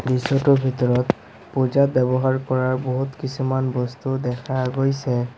দৃশ্যটোৰ ভিতৰত পূজাত ব্যৱহাৰ কৰা বহুত কিছুমান বস্তু দেখা গৈছে।